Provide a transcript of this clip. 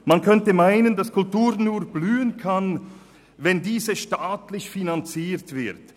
Man könnte meinen, Kultur könne nur blühen, wenn sie staatlich finanziert wird.